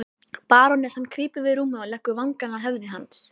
Barónessan krýpur við rúmið og leggur vangann að höfði hans.